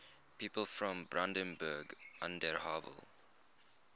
people from brandenburg an der havel